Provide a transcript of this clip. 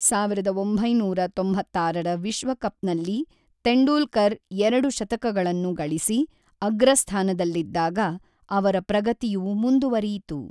ಸಾವಿರದ ಒಂಬೈನೂರ ತೊಂಬತ್ತಾರರ ವಿಶ್ವಕಪ್ ನಲ್ಲಿ ತೆಂಡೂಲ್ಕರ್ ಎರಡು ಶತಕಗಳನ್ನು ಗಳಿಸಿ, ಅಗ್ರಸ್ಥಾನದಲ್ಲಿದ್ದಾಗ ಅವರ ಪ್ರಗತಿಯು ಮುಂದುವರಿಯಿತು.